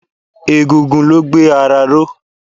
Egungun ló gbé ara ró.